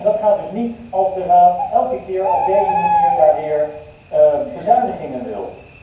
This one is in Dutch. Dat gaat dus niet als de Raad elke keer op deze manier weer bezuinigingen wil.